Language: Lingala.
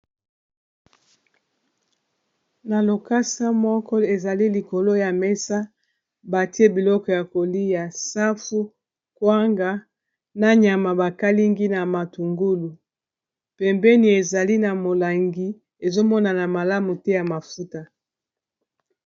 Na lokasa moko ezali likolo ya mesa batie biloko ya koli ya safu kwanga na nyama bakalingi na matungulu pembeni ezali na molangi ezomonana malamu te ya mafuta.